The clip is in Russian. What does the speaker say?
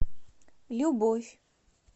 любовь